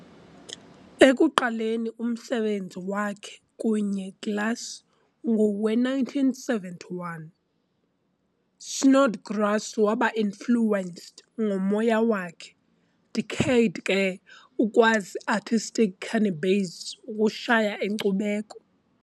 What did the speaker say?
Ekuqaleni umsebenzi wakhe kunye glass ngowe-1971, Snodgrass waba influenced ngomoya wakhe decade ke ukwazi artistic cannabis ukushaya inkcubeko.